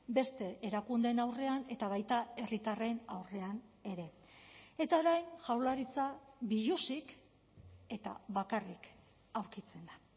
beste erakundeen aurrean eta baita herritarren aurrean ere eta orain jaurlaritza biluzik eta bakarrik aurkitzen da